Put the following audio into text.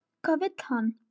Hvað vill hann?